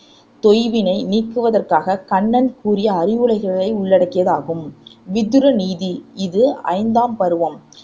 தொய்வினை நீக்குவதற்காகக் கண்ணன் கூறிய அறிவுரைகளை உள்ளடக்கியது ஆகும் விதுர நீதி இது ஐந்தாம் பருவம்